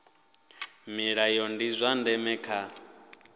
milayo ndi zwa ndeme kha